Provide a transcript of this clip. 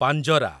ପାଞ୍ଜରା